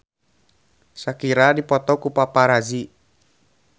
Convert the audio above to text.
Shakira dipoto ku paparazi